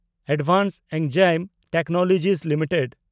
advanced enzyme technology limited